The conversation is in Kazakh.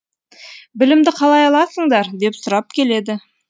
білімді қалай аласыңдар деп сұрап келеді